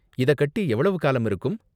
இத கட்டி எவ்வளவு காலம் இருக்கும்?